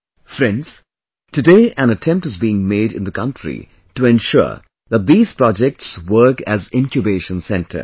Friends, today an attempt is being made in the country to ensure that these projects work as Incubation centers